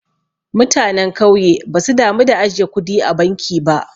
Mutanen kauye basu damu da ajiye kudi a banki ba.